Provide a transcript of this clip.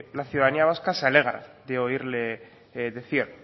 la ciudadanía vasca se alegra de oírle decir